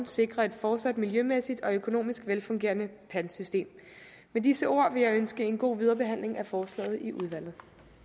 sikre et fortsat miljømæssigt og økonomisk velfungerende pantsystem med disse ord vil jeg ønske en god videre behandling af forslaget i udvalget